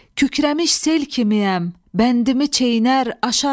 Kükrəmiş sel kimiyəm, bəndimi çeynər, aşaram.